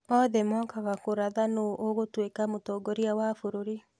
Othe mokaga kũratha nũ ũgũtuĩka mũtongoria wa bũrũri